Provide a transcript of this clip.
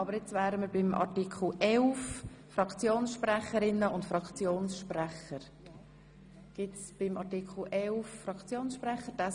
Wir sind bei den Fraktionssprecherinnen und Fraktionssprechern zu Artikel 11.